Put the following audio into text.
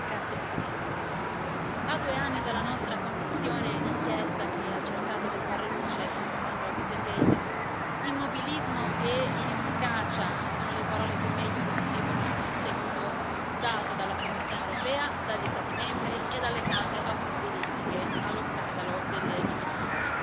Signora Presidente, onorevoli colleghi, a due anni dalla nostra commissione d'inchiesta, che ha cercato di far luce sullo scandalo immobilismo e inefficacia sono le parole che meglio descrivono il seguito dato dalla Commissione europea, dagli Stati membri e dalle case automobilistiche allo scandalo delle emissioni.